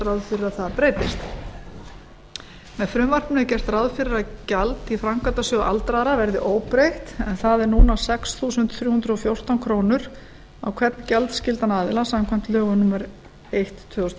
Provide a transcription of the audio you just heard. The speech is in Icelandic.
ráð fyrir að það breytist með frumvarpinu er gert ráð fyrir að gjald í framkvæmdasjóð aldraðra verði óbreytt en það er núna sex þúsund þrjú hundruð og fjórtán krónur á hvern gjaldskyldan aðila samkvæmt lögum númer eitt tvö þúsund og